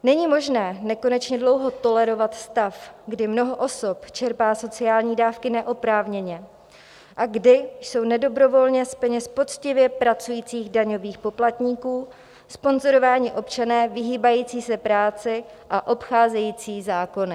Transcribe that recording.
Není možné nekonečně dlouho tolerovat stav, kdy mnoho osob čerpá sociální dávky neoprávněně a kdy jsou nedobrovolně z peněz poctivě pracujících daňových poplatníků sponzorováni občané vyhýbající se práci a obcházející zákony.